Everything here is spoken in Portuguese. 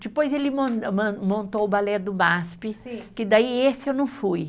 Depois ele mon, man, montou o balé do Masp. Sim. Que daí esse eu não fui.